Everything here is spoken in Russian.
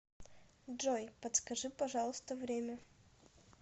джой подскажи пожалуйста время